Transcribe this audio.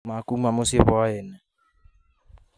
Makuuma mũciĩ whai-inĩ